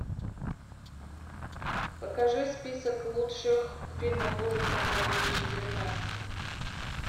покажи список лучших фильмов ужасов за две тысячи девятнадцатый